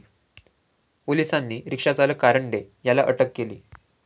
पोलिसांनी रिक्षा चालक कारंडे याला अटक केली.